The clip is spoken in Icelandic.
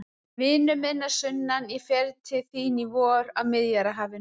Vinur minn að sunnan, ég fer til þín í vor, að Miðjarðarhafinu.